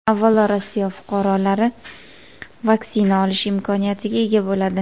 Avvalo Rossiya fuqarolari vaksina olish imkoniyatiga ega bo‘ladi.